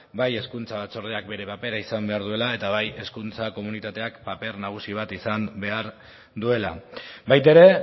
ba hezkuntza batzordeak bere papera izan behar duela eta bai hezkuntza komunitateak paper nagusi bat izan behar duela baita ere